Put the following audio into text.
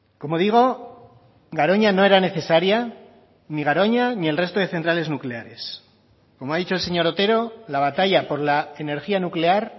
como digo garoña no era necesaria ni garoña ni el resto de centrales nucleares como ha dicho el señor otero la batalla por la energía nuclear